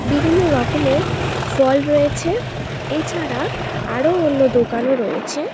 বিভিন্ন রকমের ফল রয়েছে এছাড়া আরও অন্য দোকানও রয়েছে।